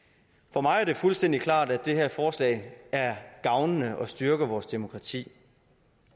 for mig er det fuldstændig klart at det her forslag er gavnende og styrker vores demokrati